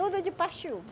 Tudo de paxiúba